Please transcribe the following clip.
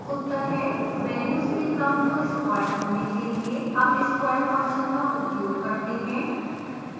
और उत्तर हैं वेल्यूज के क्रम को स्क्वेर करने के लिए हम square फंक्शन का उपयोग करते हैं